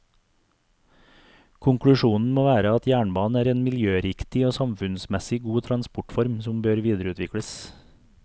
Konklusjonen må være at jernbanen er en miljøriktig og samfunnsmessig god transportform som bør videreutvikles.